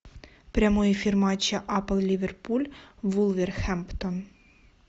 прямой эфир матча апл ливерпуль вулверхэмптон